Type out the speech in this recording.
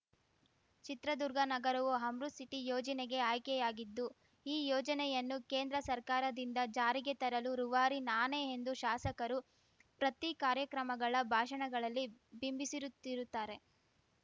ಚಿತ್ರದುರ್ಗ ನಗರವು ಅಮೃತ್‌ ಸಿಟಿ ಯೋಜನೆಗೆ ಆಯ್ಕೆಯಾಗಿದ್ದು ಈ ಯೋಜನೆಯನ್ನು ಕೇಂದ್ರ ಸರ್ಕಾರದಿಂದ ಜಾರಿಗೆ ತರಲು ರೂವಾರಿ ನಾನೇ ಎಂದು ಶಾಸಕರು ಪ್ರತಿ ಕಾರ್ಯಕ್ರಮಗಳ ಭಾಷಣಗಳಲ್ಲಿ ಬಿಂಬಿಸಿರುತ್ತಿರುತ್ತಾರೆ